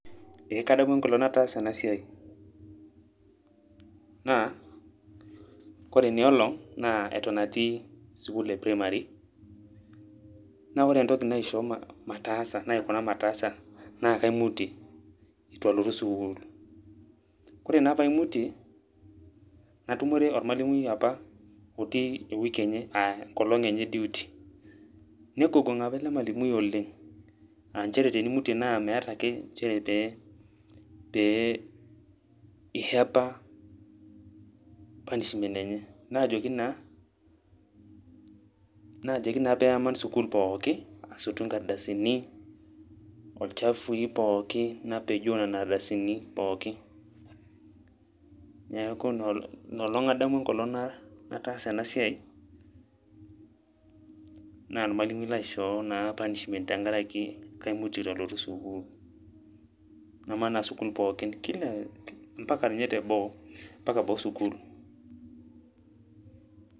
Eeeh kadamu enkolong' nataasa ena siai naa kore ina olong' naa eton atii sukuul e primary naa ore entoki naishoo mataasa naikuna mataasa naa kaimutie itu alotu sukuul kore naa paimutie natumore ormalimui apa otii e wiki enye aa enkolong' enye e duty nikugung'a apa ele malimui oleng' aa njere tenimutie naa meeta ake njere pee pee i hepa punishment enye. Najoki naa najoki naa pee aman sukuul pookin asotu nkardasini olchafui pookin napejoo nena ardasini pookin. Neeku ina olong' adamu enkolong' nataasa ena siai naa ormalimui laishoo naa punishment tenkaraki kaimutie itu alotu sukuul. Namanaa sukuul pookin kila mpaka nye teboo mpaka boo sukuul.